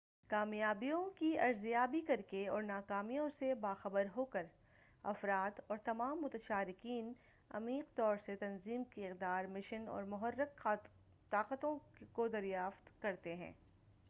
کامیابیوں کی ارزیابی کرکے اور ناکامیوں سے با خبر ہوکر افراد اور تمام متشارکین عمیق طور سے تنظیم کی اقدار مشن اور محرِّک طاقتوں کو دریافت کرتے ہیں